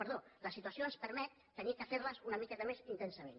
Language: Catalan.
perdó la situació ens permet haver de fer les una miqueta més intensament